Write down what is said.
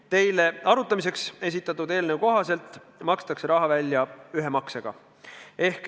Teile arutamiseks esitatud eelnõu kohaselt makstakse raha välja ühe maksega.